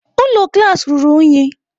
Ụlọ klaasị ruru unyi.